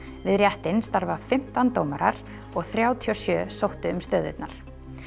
við réttinn starfa fimmtán dómarar og þrjátíu og sjö sóttu um stöðurnar